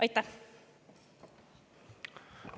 Aitäh!